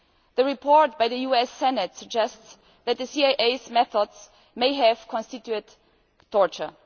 The report by the US Senate suggests that the CIA's methods may have constituted torture.